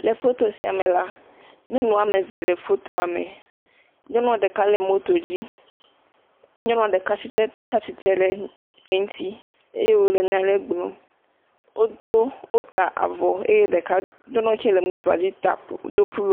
Le foto siame la, nyɔnuameve le fotoame, nyɔnua ɖeka le moto dzi, nyɔnua ɖeka tsɛ tsatsitre le eŋti eye wole nyaɖe gblɔm wodo wota avɔ eye ɖeka nyɔnua kiɛ le motoadzi ta ku do pu…